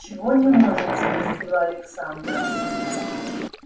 чего не может спросила александра